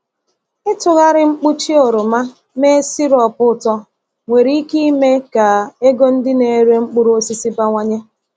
Ịtụgharị mkpuchi oroma mee sirop ụtọ nwere ike ime ka ego ndị na-ere mkpụrụ osisi bawanye.